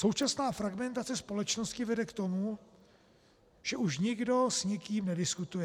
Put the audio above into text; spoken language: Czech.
Současná fragmentace společnosti vede k tomu, že už nikdo s nikým nediskutuje.